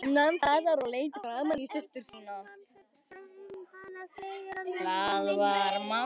Hermann hugsaði um hana þegar hann var kominn heim.